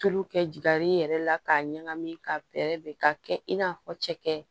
Tulu kɛ jaar'i yɛrɛ la k'a ɲagami ka bɛrɛ bɛn ka kɛ i n'a fɔ cɛkɛ